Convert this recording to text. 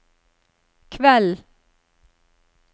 kveld